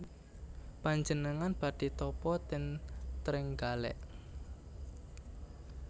Panjenengan badhe tapa ten Trenggalek